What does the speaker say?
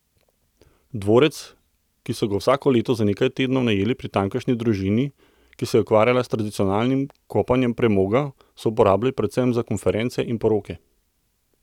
Dvorec, ki so ga vsako leto za nekaj tednov najeli pri tamkajšnji družini, ki se je ukvarjala s tradicionalnim kopanjem premoga, so uporabljali predvsem za konference in poroke.